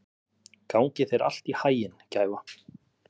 Gangi þér allt í haginn, Gæfa.